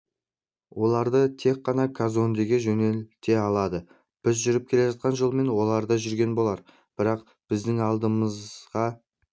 оларды тек қана казондеге жөнелте алады біз жүріп келе жатқан жолмен олар да жүрген болар бірақ біздің алдымызға